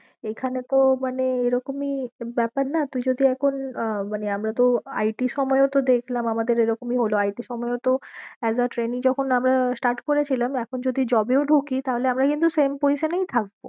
এইখানে তো মানে এরকমই ব্যাপার না তুই যদি এখন আহ মানে আমরা তো IT র সময় ও তো দেখলাম আমাদের এরকমই হলো IT র সময় ও তো as a trainee যখন আমরা start করেছিলাম এখন যদি job এও ঢুকি তাহলে আমরা কিন্তু same position এই থাকবো।